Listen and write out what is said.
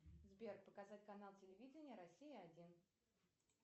сбер показать канал телевидения россия один